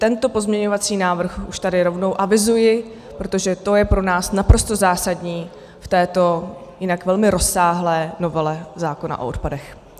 Tento pozměňovací návrh už tady rovnou avizuji, protože to je pro nás naprosto zásadní v této jinak velmi rozsáhlé novele zákona o odpadech.